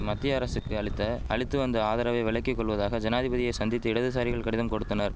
மத்திய அரசுக்கு அளித்த அளித்து வந்த ஆதரவை விலக்கி கொள்வதாக ஜனாதிபதியை சந்தித்து இடதுசாரிகள் கடிதம் கொடுத்தனர்